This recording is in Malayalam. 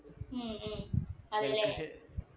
ഉം ഉം അതെല്ലേ